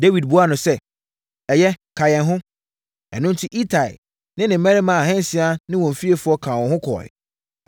Dawid buaa no sɛ, “Ɛyɛ, ka yɛn ho.” Ɛno enti, Itai ne ne mmarima ahansia ne wɔn fiefoɔ kaa wɔn ho kɔeɛ.